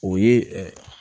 O ye